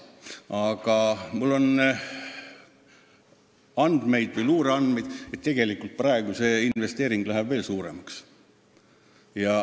Aga mul on luureandmeid, et tegelikult läheb investeering veelgi suuremaks.